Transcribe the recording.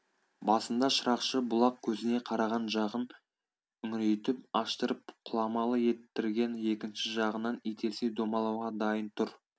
басында шырақшы бұлақ көзіне қараған жағын үңірейтіп аштырып құламалы еттірген екінші жағынан итерсе домалауға дайын тұр